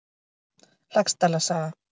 Laxdæla saga.